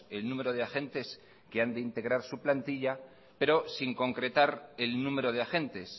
el número de agentes que han de integrar su plantilla pero sin concretar el número de agentes